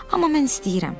Amma mən istəyirəm.